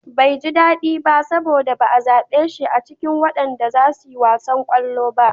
Bai ji daɗi ba saboda ba'a zaɓe shi a cikin wanda zasu yi wasan ƙwallo ba.